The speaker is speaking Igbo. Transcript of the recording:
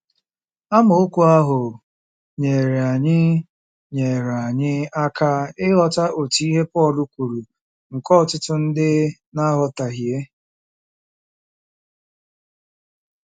Amaokwu ahụ nyeere anyị nyeere anyị aka ịghọta otu ihe Pọl kwuru nke ọtụtụ ndị na - aghọtahie.